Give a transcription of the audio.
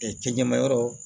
cɛ ɲɛmayɔrɔ